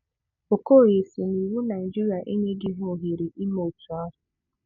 Okoye si na iwu Naịjirịa enyeghị ha ohere ime otu ahụ.